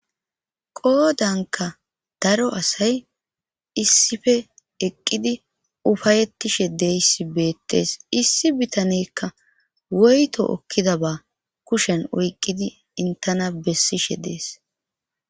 Qoodanka daro asay issife eqqidi ufayettishe deyssi beettees issi bitanekka woyto okkida ba kushen oyqqidi intana bessishe dees.